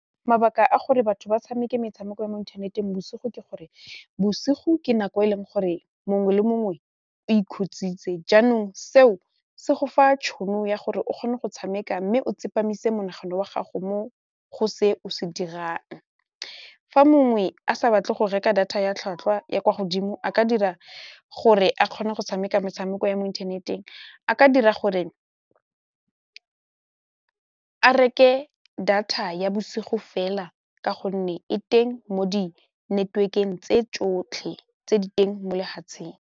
Mabaka a gore batho ba tshameke metshameko ya mo ithaneteng bosigo ke gore bosigo ke nako e leng gore mongwe le mongwe o ikhutsitse jaanong seo se go fa tšhono ya gore o kgone go tshameka mme o tsepamise monagano wa gago mo go se o se dirang fa mongwe a sa batle go reka data ya tlhwatlhwa ya kwa godimo a ka dira gore a kgone go tshameka metshameko ya mo inthaneteng a ka dira gore a reke data ya bosigo fela ka gonne e teng mo di network-eng tse tsotlhe tse di teng mo lefatsheng.